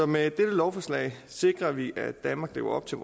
med dette lovforslag sikrer vi at danmark lever op til